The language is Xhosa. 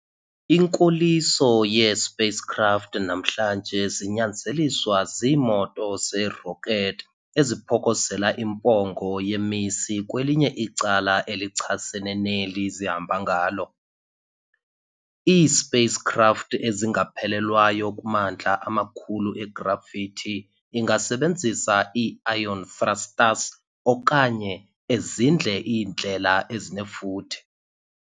Inkoliso yee-spacecraft namhlanje zinyanzeliswa ziimoto ze-rocket, eziphokozela impongo yemisi kwelinye icala elichasene neli zihamba ngalo. I-Spacecraft ezingaphelelwayo kumandla amakhulu e-gravity ingasenebzisa ii-ion thrusters okanye ezindle iindlela ezinefuthe.